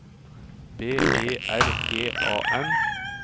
B E R G A N